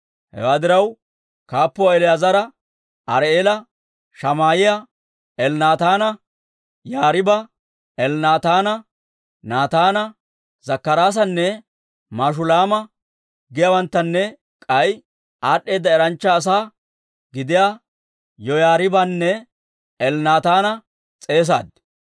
Hewaa diraw, kaappuwaa El"eezera, Ari"eela, Shamaa'iyaa, Elnaataana, Yaariiba, Elnaataana, Naataana, Zakkaraasanne Mashulaama giyaawanttanne k'ay aad'd'eeda eranchcha asaa gidiyaa Yoyaariibanne Elnaataana s'eesaad.